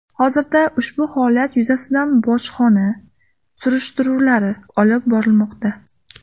Hozirda ushbu holatlar yuzasidan bojxona surishtiruvlari olib borilmoqda.